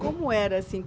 Como era assim?